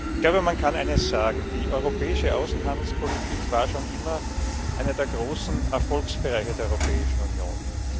Ich glaube, man kann eines sagen Die europäische Außenhandelspolitik war schon immer einer der großen Erfolgsbereiche der Europäischen Union.